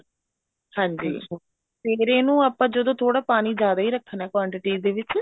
ਹਾਂਜੀ ਤੇ ਫ਼ੇਰ ਇਹਨੂੰ ਆਪਾਂ ਜਦੋਂ ਥੋੜਾ ਪਾਣੀ ਜਿਆਦਾ ਹੀ ਰੱਖਣਾ quantity ਦੇ ਵਿੱਚ